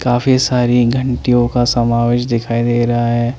काफी सारी घंटीयों का समावेस दिखाई दे रहा है।